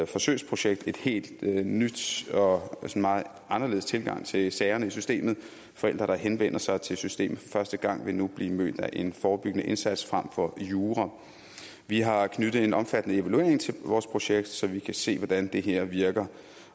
forsøgsprojekt en helt ny og meget anderledes tilgang til sagerne i systemet forældre der henvender sig til systemet for første gang vil nu blive mødt af en forebyggende indsats frem for jura vi har knyttet en omfattende evaluering til vores projekt så vi kan se hvordan det her virker